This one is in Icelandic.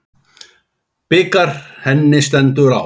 Bikar henni stendur á.